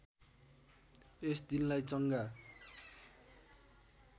यस दिनलाई चङ्गा